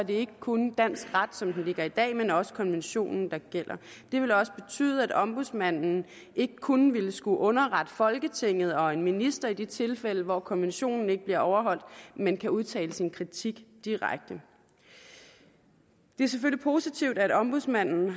ikke kun dansk ret som den ligger i dag men også konventionen der gælder det vil også betyde at ombudsmanden ikke kun vil skulle underrette folketinget og en minister i de tilfælde hvor konventionen ikke bliver overholdt men kan udtale sin kritik direkte det er selvfølgelig positivt at ombudsmanden